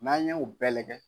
N'an ye o bɛɛ lajɛ